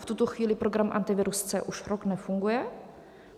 V tuto chvíli program Antivirus C už rok nefunguje.